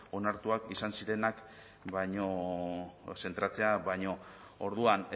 onartuak izan zirenak zentratzea baino orduan